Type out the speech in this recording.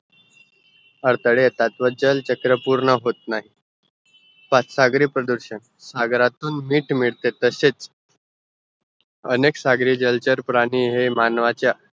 अडताळे येतात व जल चक्र पूर्ण होतनाइ सागरी प्रदूषण सागरातून मीठ तसेच अनेक सागरी जलचर प्राणी हे मानवाचा